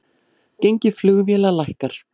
Gengi flugfélaga lækkar